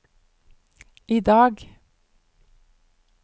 idag